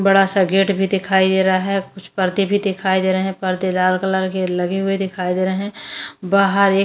बड़ा सा गेट भी दिखाई दे रहा है कुछ पर्दे भी दिखाई दे रहे हैं पर्दे लाल कलर के लगे हुए दिखाई दे रहे हैं बाहर एक --